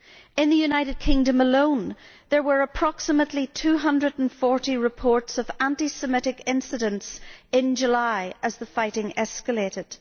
In the United Kingdom alone there were approximately 240 reports of anti Semitic incidents in July as the fighting escalated.